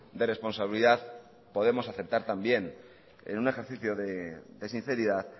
de responsabilidad podemos aceptar también en un ejercicio de sinceridad